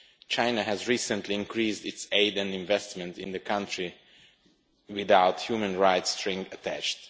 China has recently increased its aid and investment in the country without human rights strings attached.